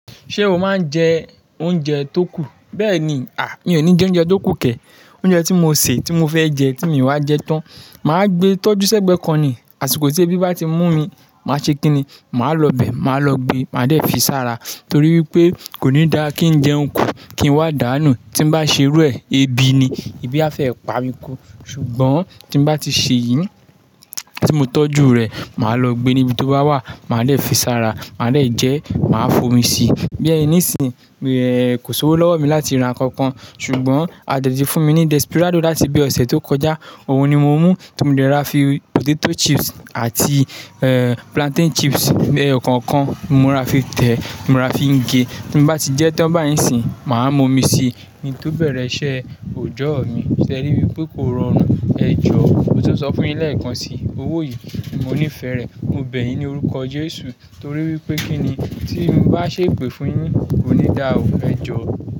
Ṣé o máa ń jẹ oúnjẹ tó kù? Bẹ́ẹ̀ni, à, mi ò ní jẹ oúnjẹ tó kù kẹ̀. Oúnjẹ tí mo sè, tí mo fẹ́ jẹ, tí mo ìwá jẹ tán. Mà á gbe tọ́jú sẹ́gbẹ̀ẹ́ kọ ni, àsìkò tí ebi bá ti mú mi, màá ṣe kíni, màá lọ bẹ̀, màá lọ gbe, màá dẹ̀ fi sára. Torí wípé kò ní dá kí ń jẹun kù, kí ń wá dáànù. Tí ń bá ṣe rú ẹ̀, ebi ni, ebi a fẹ́ pa mi kú. Ṣùgbọ́n tí ń bá ti ṣe yìí, tí mo tọ́jú rẹ̀, màá lọ gbe níbi tó bá wà, màá dẹ̀ fi sára, màá dẹ̀ jẹ, màá fomi síi. Bí ẹyí níìsín, kò ṣòwò lọ́wọ́ mi láti ra nkankan. Ṣùgbọ́n a tètè fún mi ní Desperado láti ibi ọ̀sẹ̀ tó kọjá. Ohun ni mo mú tí mo dẹ̀ rọra fi potato chips àti plantain chips, ẹyọ kọ̀ọ̀kan, mo ra fi tẹ̀, mo ra fi gé. Tí ń bá ti jẹ tán báyìí n sín, màá mú omi si. Kin tó bẹ̀rẹ̀ iṣẹ́ òjọ́ mi. Ṣé ẹ ríi wípé kò rọrùn? Ẹ jọ, mo tún sọ fún yín lẹ́ẹ̀kan si. Owó yìí mo níí fẹ rẹ̀, mo bẹ̀ yín ní orúkọ Jésù. Torí wípé kí ni tí ń bá ṣe pè fún yín, kò ní dà ó. Ẹ jọ.